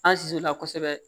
An susu la kosɛbɛ